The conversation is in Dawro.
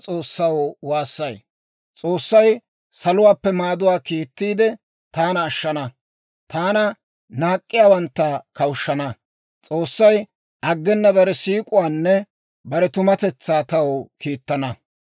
S'oossay saluwaappe maaduwaa kiittiide, taana ashshana; taana naak'k'iyaawantta kawushshana; S'oossay aggena bare siik'uwaanne bare tumatetsaa taw kiittana.